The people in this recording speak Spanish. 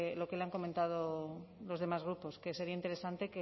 lo que le han comentado los demás grupos que sería interesante